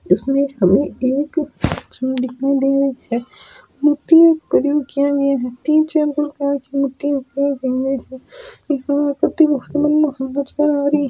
इसमें हमें एक सुर दिखाय दे रही है मूर्तियो --